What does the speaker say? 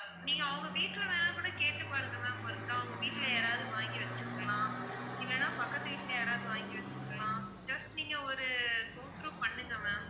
நீங்க அவங்க வீட்ல வேணா கூட கேட்டு பாருங்க ma'am ஒருக்கால் அவுங்க வீட்ல யாராவது வாங்கி வச்சுருக்கலாம், இல்லன்னா பக்கத்துக்கு வீட்ல யாராவது வாங்கி வச்சுருக்கலாம், just நீங்க ஒரு go through பண்ணுங்க ma'am,